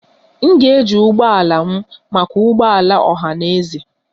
M ga-eji ụgbọ ala m maka ụgbọ ala ọha na eze.